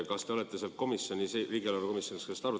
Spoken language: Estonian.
Kas te olete riigieelarve komisjonis seda arutanud?